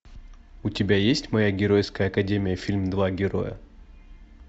у тебя есть моя геройская академия фильм два герои